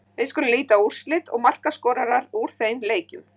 Við skulum líta á úrslit og markaskorara úr þeim leikjum.